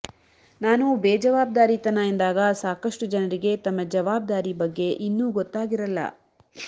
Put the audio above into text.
ನಾನು ಬೇಜವಾಬ್ದಾರಿತನ ಎಂದಾಗ ಸಾಕಷ್ಟು ಜನರಿಗೆ ತಮ್ಮ ಜವಾಬ್ದಾರಿ ಬಗ್ಗೆ ಇನ್ನೂ ಗೊತ್ತಾಗಿರಲ್ಲ